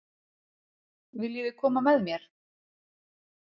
Viljiði koma með mér?